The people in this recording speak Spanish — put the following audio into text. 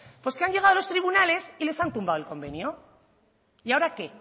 pues que han llegado a los tribunales y les han tumbado el convenio y ahora qué